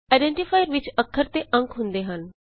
identifier ਵਿਚ ਅੱਖਰ ਅਤੇ ਅੰਕ ਹੁੰਦੇ ਹਨ